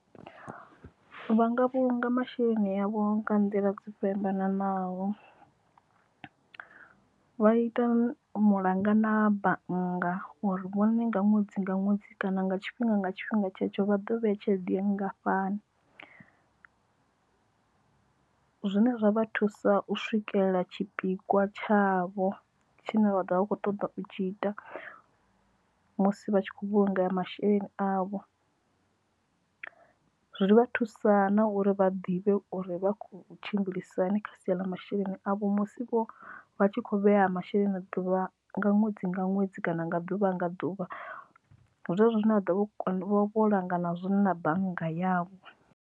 Vhanga vhulunga masheleni avho nga nḓila dzo fhambananaho vha ita mulanga na bannga uri vhone nga ṅwedzi nga ṅwedzi kana nga tshifhinga nga tshifhinga tshetsho vha ḓo vheya tshelede ya nngafhani, zwine zwa vha thusa u swikelela tshipikwa tshavho tshine vha ḓovha vha kho ṱoḓa u tshi ita musi vha tshi khou vhulunga masheleni avho zwi ri vha thusana uri vha ḓivhe uri vha kho tshimbilisahani kha sia ḽa masheleni avho musi vho vha tshi kho vhea masheleni na ḓuvha nga ṅwedzi nga ṅwedzi kana nga ḓuvha nga ḓuvha zwezwo zwine vha ḓovha vho langana zwone na bannga yavho.